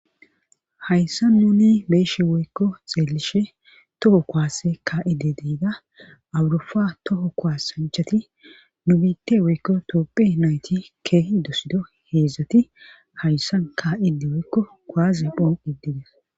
Hayssa nuni beeshe woykko xeellishe toho koaase ka7ide deida awurufa toho kuasanchati nu biitte woykko toophe nayti keehi dosido heedzdzati hayssa ka7ide woykko koaze phoon iddides